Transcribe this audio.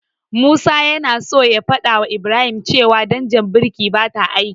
Musa yana so ya fadawa Ibrahim cewa danjar birkin bata aiki.